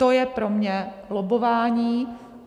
To je pro mě lobbování.